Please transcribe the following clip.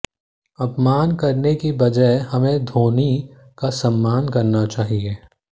अपमान करने की बजाय हमें धोनी का सम्मान करना चाहिए